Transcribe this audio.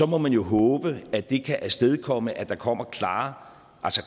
må man jo håbe at det kan afstedkomme at der kommer klarere